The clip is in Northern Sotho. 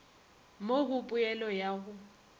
mo go poelo ya go